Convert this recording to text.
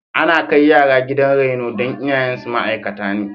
Ana kai yara gidan reno don iyayensu ma'aikata ne.